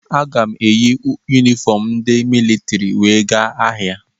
Aga m eyi yunifọm ndị militrị wee gaa ahịa.